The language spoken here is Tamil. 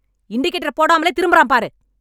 இண்டிகேட்டர் போடாமலே திரும்பறான் பாரு.